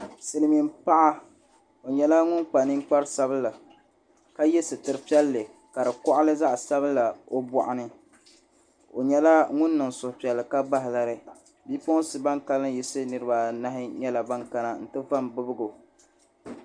Silmiin paɣa o nyɛla ŋun kpa ninkpari sabila ka yɛ sitiri piɛlli ka di koɣali zaɣ sabila o boɣani o nyɛla ŋun niŋ suhupiɛlli ka bahi lari bipuɣunsi ban kanli yiɣisi niraba anahi nyɛla ban kana n ti va n bibgo